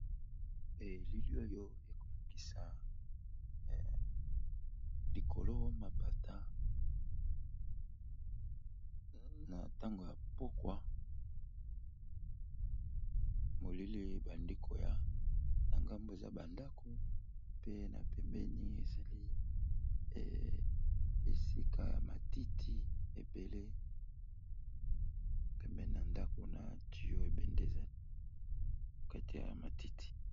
Elili oyo ekolakisa likolo mapata na ntango ya pokwa molili ebandi koya, na ngambo eza ba ndako pe na pembeni ezali esika ya matiti ebele pembeni na ndako na tuyau ebende ezali katia ya matiti.